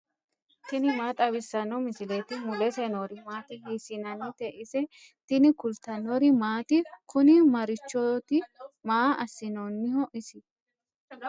tini maa xawissanno misileeti ? mulese noori maati ? hiissinannite ise ? tini kultannori maati? Kuni Marichooti? Maa asinaniho isi?